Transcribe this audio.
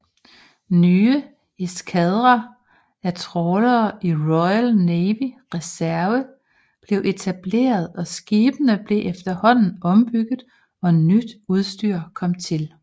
Nye eskadrer af trawlere i Royal Navy Reserve blev etableret og skibene blev efterhånden ombygget og nyt udstyr kom til